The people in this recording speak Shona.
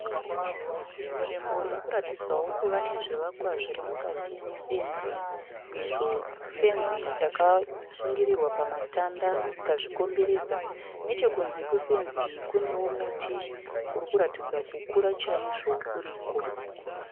Nzvimbo irikuratidzawo kuva nezvivakwa zviri mukati mefenzi izvo fenzi yakasungirirwa pamatanda ikazvikomberedza. Nechekunze kwefenzi iyi kunewo muti urikuratidza kukura chaizvo uriko.